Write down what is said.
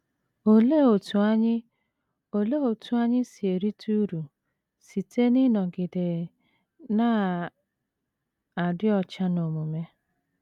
Olee otú anyị Olee otú anyị si erite uru site n’ịnọgide na - adị ọcha n’omume?